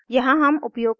यहाँ हम उपयोग कर रहे हैं